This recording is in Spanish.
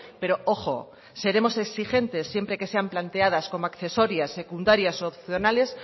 pero ojo seremos exigentes siempre que sean planteadas como accesorias secundarias u opcionales